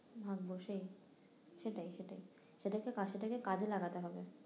ভাগ্য সেই সেটাই সেটাই সেটাকে কাজে সেটাকে কাজে লাগাতে হবে